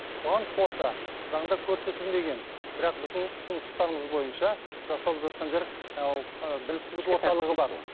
бұған қоса заңда көрсетілмеген бірақ біздің ұсыныстарымыз бойынша жасалып жатқан жер ыыы біліктілік